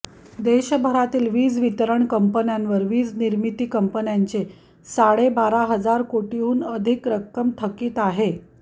देशभरातील वीज वितरण कंपन्यांवर वीज निर्मिती कंपन्यांचे साडेबारा हजार कोटींहून अधिक रक्कम थकित आहे